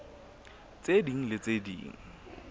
tse ding le tse ding